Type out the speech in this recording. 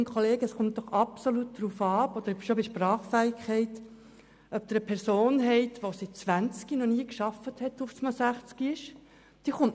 Aber, Kolleginnen und Kollegen, schon bei der Sprachfähigkeit kommt es doch absolut darauf an, ob Sie eine Person haben, die seit ihrem 20. Altersjahr noch nie gearbeitet hat und nun sechzig ist.